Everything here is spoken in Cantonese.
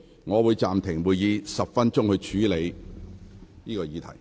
我會暫停會議10分鐘，以處理有關事宜。